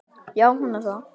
Já, hún er það.